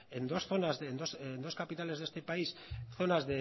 en dos zonas en dos capitales de este país zonas